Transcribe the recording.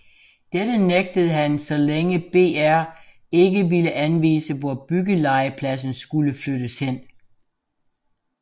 Dette nægtede han så længe BR ikke ville anvise hvor byggelegepladsen skulle flyttes hen